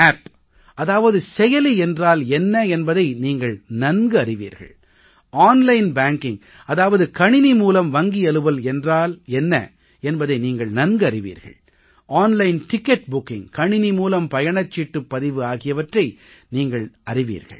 app அதாவது செயலி என்றால் என்ன என்பதை நீங்கள் நன்கறிவீர்கள் ஆன்லைன் பேங்கிங் அதாவது கணிணி மூலம் வங்கியலுவல் என்றால் என்ன என்பதை நீங்கள் அறிவீர்கள் கணிணி மூலம் பயணச்சீட்டுப் பதிவு ஆகியவற்றை நீங்கள் அறிவீர்கள்